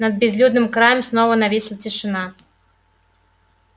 над безлюдным краем снова нависла тишина